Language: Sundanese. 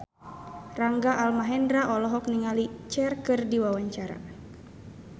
Rangga Almahendra olohok ningali Cher keur diwawancara